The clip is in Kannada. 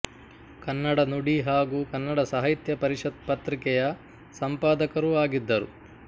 ಕನ್ನಡ ನುಡಿ ಹಾಗು ಕನ್ನಡ ಸಾಹಿತ್ಯ ಪರಿಷತ್ ಪತ್ರಿಕೆಯ ಸಂಪಾದಕರೂ ಆಗಿದ್ದರು